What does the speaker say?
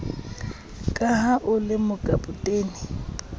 ka ha o le mokapotene